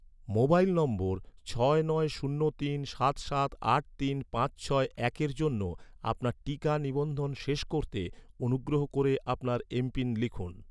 mobile নম্বর, ছয় নয় শূন্য তিন সাত সাত আট তিন পাঁচ ছয় একের জন্য, আপনার টিকা নিবন্ধন শেষ করতে, অনুগ্রহ করে আপনার এমপিন লিখুন